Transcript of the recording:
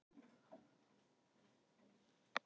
Rif í hafnarmynninu er helsti þröskuldurinn